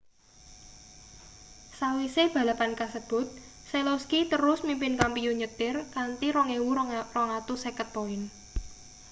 sawise balapan kasebut selowski terus mimpin kampiyun nyetir kanthi 2.250 poin